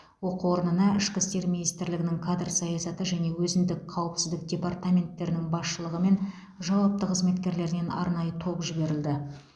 оқу орнына ішкі істер министрлігінің кадр саясаты және өзіндік қауіпсіздік департаменттерінің басшылығы мен жауапты қызметкерлерінен арнайы топ жіберілді